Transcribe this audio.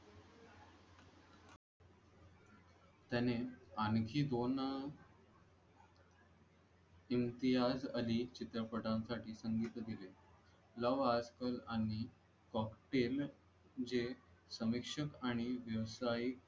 त्याने आणखी दोन इम्तियाज अली चित्रपटासाठी संगीत दिले लव्ह आज कल आणि cocktail